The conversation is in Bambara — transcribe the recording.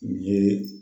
U ye